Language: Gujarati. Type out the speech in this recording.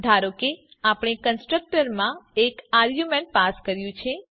ધારો કે આપણે કન્સ્ટ્રક્ટરમાં એક આરગયુંમેન્ટ પાસ કર્યું છે